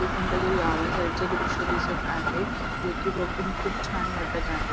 हे कोणत्यातरी गावा साईडच दृश्य दिसत आहे जे कि बघून खूप छान वाटत आहे.